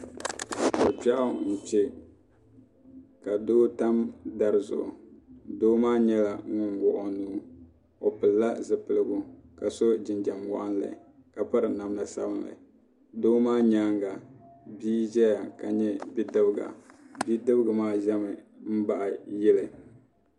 Ko kpɛɣu n kpɛ ka doo tam dari zuɣu doo maa nyɛla ŋuni wuɣi o nuu o pili la zupiligu ka so jinjam wɔnɣili ka piri namda sabinli doo maa yɛanga bia zɛya ka nyɛ bidibiga bidibiga maa zami nbaɣi yili.